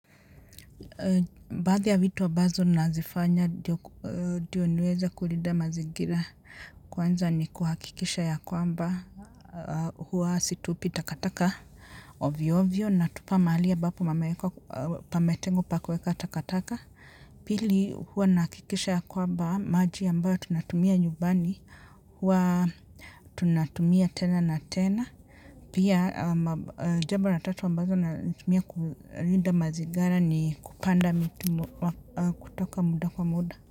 Baadhi ya vitu ambazo nazifanya ndiyo niweze kulinda mazingira kwanza ni kuhakikisha ya kwamba huwa situpi takataka ovyo ovyo natupa mahali ambapo pametengwa pa kueka takataka pili hua nahakikisha ya kwamba maji ambayo tunatumia nyumbani hua tunatumia tena na tena. Pia jambo la tatu ambalo natumia kulinda mazingira ni kupanda miti kutoka muda kwa muda.